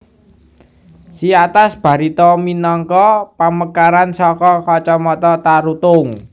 Siatas Barita minangka pamekaran saka kacamatan Tarutung